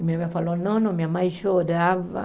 E minha mãe falou, não não, minha mãe chorava.